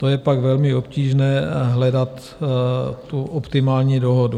To je pak velmi obtížné hledat tu optimální dohodu.